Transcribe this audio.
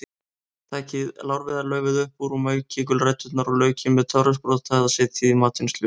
Takið lárviðarlaufið upp úr og maukið gulræturnar og laukinn með töfrasprota eða setjið í matvinnsluvél.